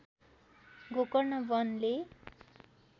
Gokarna वनले